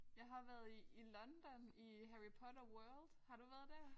Jeg har været i i London i Harry Potter World. Har du været der?